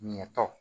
Ɲɛ tɔ